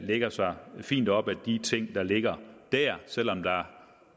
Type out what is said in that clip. lægger sig fint op ad de ting der ligger der selv om der